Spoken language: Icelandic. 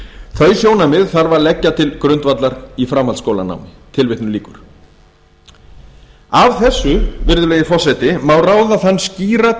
þau sjónarmið þarf að leggja til grundvallar í framhaldsskólanámi tilvitnun lýkur af þessu virðulegi forseti má ráða þann skýra